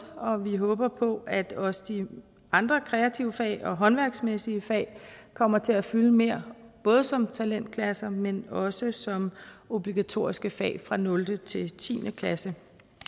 og vi håber på at også de andre kreative fag og håndværksmæssige fag kommer til at fylde mere både som talentklasser men også som obligatoriske fag fra nul til tiende klasse